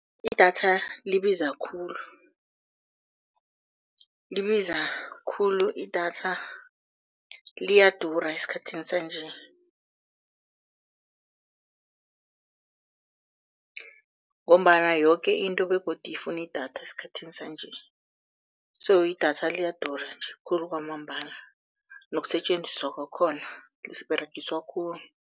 Idatha libiza khulu, libiza khulu idatha. Liyadura esikhathini sanje ngombana yoke into begodu ifuna idatha esikhathini sanje so idatha liyadura nje khulu kwamambala, nokusetjenziswa kwakhona, lisiberegiswa khulu.